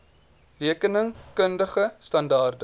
rekening kundige standaarde